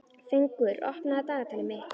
Fengur, opnaðu dagatalið mitt.